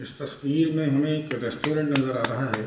इस तस्वीर में हमें एक रेस्टोरेंट नजर आ रहा है।